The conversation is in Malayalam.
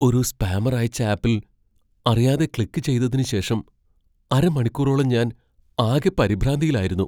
ഒരു സ്പാമർ അയച്ച ആപ്പിൽ അറിയാതെ ക്ലിക്ക് ചെയ്തതിന് ശേഷം അരമണിക്കൂറോളം ഞാൻ ആകെ പരിഭ്രാന്തിയിലായിരുന്നു.